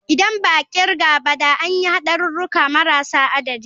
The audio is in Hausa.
Idan ba a kirga ba da an yi hadurruka marasa adadi.